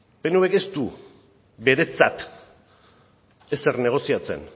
pnvk ez du beretzat ezer negoziatzen